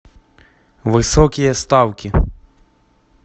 высокие ставки